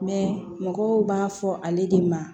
mɔgɔw b'a fɔ ale de ma